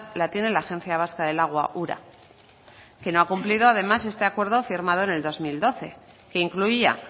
la tiene la agencia vasca del agua ura que no ha cumplido además este acuerdo firmado en el dos mil doce que incluía